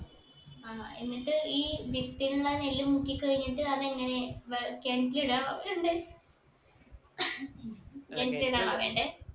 ആ എന്നിട്ട് ഈ വിത്തിലുണ്ടായ നെല്ല് മുക്കി കഴിഞ്ഞിട്ട് അതെങ്ങനെ വെ കിണറ്റിലിടെ വേണ്ടേ കിണറ്റിലിടാണോ വേണ്ടേ